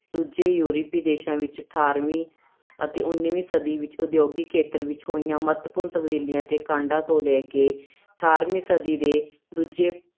ਦੂਜੇ ਯੂਰਪੀ ਦੇਸਾਂ ਵਿੱਚ ਅਠਾਰਵੀਂ ਅਤੇ ਉਨਵੀਂ ਸਦੀ ਵਿੱਚ ਉਦਯੋਗਿਕ ਖੇਤਰ ਵਿੱਚ ਹੋਈਆਂ ਮਹੱਤਵਪੂਰਨ ਤਬਦੀਲੀਆਂ ਦੇ ਕਾਡਾਂ ਤੋਂ ਲੈ ਕੇ ਅਠਾਰਵੀਂ ਸਦੀ ਦੇ ਦੂਜੇ